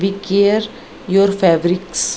we care your fabrics --